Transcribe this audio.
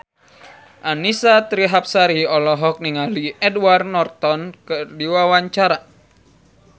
Annisa Trihapsari olohok ningali Edward Norton keur diwawancara